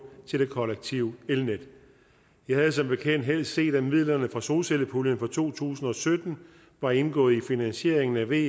til det kollektive elnet vi havde som bekendt helst set at midlerne fra solcellepuljen for to tusind og sytten var indgået i finansieringen af ve